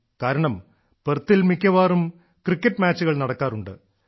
കാരണം പെർത്തിൽ മിക്കവാറും ക്രിക്കറ്റ് മാച്ചുകൾ നടക്കാറുണ്ട്